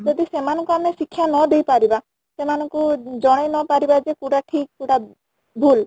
ଯଦି ସେମାନେ ଙ୍କୁ ଆମେ ଶିକ୍ଷା ନ ଦେଇ ପାରିବା ସେମାନେ ଙ୍କୁ ଜଣେଇ ନ ପାରିବା ଯେ କୋଉଟା ଠିକ କୋଉଟା ଭୁଲ